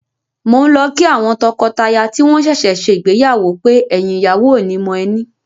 Mò ń lọ kí àwọn tọkọtaya tí wọ́n ṣẹ̀ṣẹ̀ ṣègbéyàwó pé, “ẹ̀yìn ìyàwó ò ní mọ ẹní”.